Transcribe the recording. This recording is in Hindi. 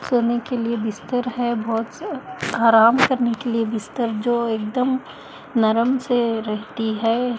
सोने के लिए बिस्तर है बोहोत से आराम करने के लिए बिस्तर जो एकदम नरम से रहती है।